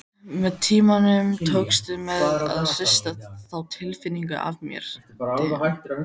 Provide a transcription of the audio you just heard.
Með tímanum tókst mér að hrista þá tilfinningu af mér.